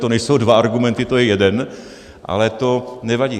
To nejsou dva argumenty, to je jeden, ale to nevadí.